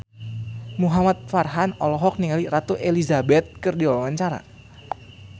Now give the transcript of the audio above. Muhamad Farhan olohok ningali Ratu Elizabeth keur diwawancara